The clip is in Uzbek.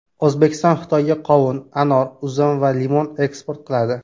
O‘zbekiston Xitoyga qovun, anor, uzum va limon eksport qiladi.